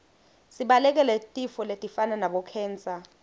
sibalekele tifo letifana nabo khensa